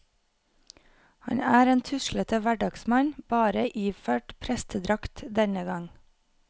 Han er en tuslete hverdagsmann, bare iført prestedrakt denne gang.